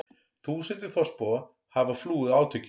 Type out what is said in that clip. Þúsundir þorpsbúa hafa flúið átökin